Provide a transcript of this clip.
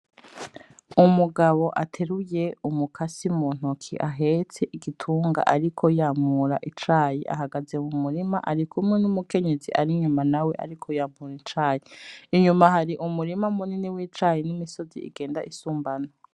Umugabo ateruye umukasi mu ntoki ahetse igitunga ariko yamura icayi ahagaze mu murima arikumwe n'umukenyezi Ari inyuma nawe ariko yamura icayi , inyuma hari umurima munini w'icayi, n'imisozi igend'isumbana.